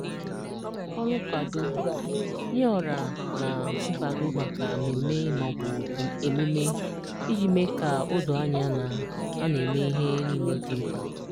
Ọrụ Nkwado: Nye ọra na nkwado maka mmemme ma ọ bụ emume, iji mee ka o doo anya na a na-eme ihe niile dị mkpa.